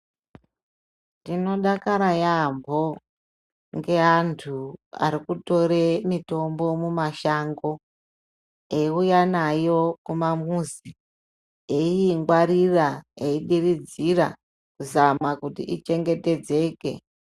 Ndinodakara yeyamho ngeantu ari kutore mitombo mumashango eiuya nayo kumamuzi eingwarira eidiridzira kuzama kuti ichengetedzeke.